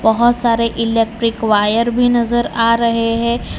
बहोत सारे electric wire भी नज़र आ रहे है।